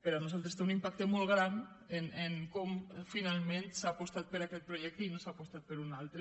per nosaltres té un impacte molt gran en com finalment s’ha apostat per aquest projecte i no s’ha apostat per un altre